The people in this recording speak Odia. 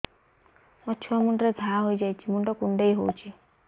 ମୋ ଛୁଆ ମୁଣ୍ଡରେ ଘାଆ ହୋଇଯାଇଛି ମୁଣ୍ଡ କୁଣ୍ଡେଇ ହେଉଛି